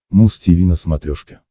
муз тиви на смотрешке